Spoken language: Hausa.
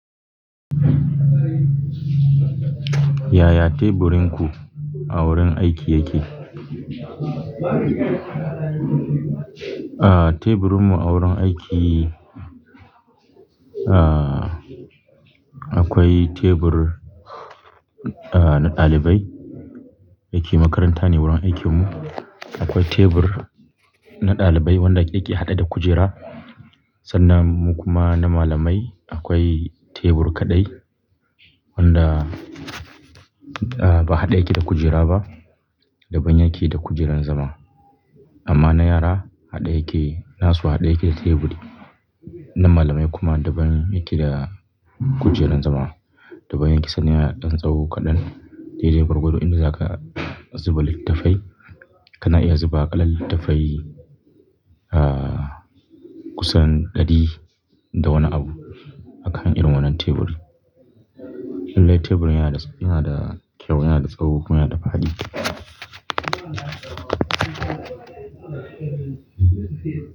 Yaya teburinku a wurin aiki yake? Ah teburinmu a wurin aiki ahh akwai tebur ahh na dalibai, dayake makaranta neh wajen aikin mu. Akwai tebur na dalibai wanda yake had'e da kujera sannan mu kuma na malamai akwai tebur kaɗai wanda ba haɗe yake da kujera ba, daban yake da kujerar zama. Amma na yara haɗe yake, nasu haɗe yake da teburi. Na malamai kuma daban yake da kujerar zama. Daban yake sannan yana dan tsawo kaɗan. Daidai gwargwado inda zaka zuba littafai, kana iya zuba ƙalar littafai ah kusan ɗari da wani abu a kan irin wannan teburi. Lallai teburin yana da sauƙi, yana da kyau, yana da tsawo kuma yana da fadi.